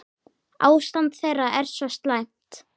Ástand þeirra sé svo slæmt.